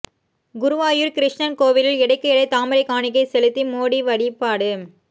குருவாயூர் கிருஷ்ணன் கோவிலில் எடைக்கு எடை தாமரை காணிக்கை செலுத்தி மோடி வழிபாடு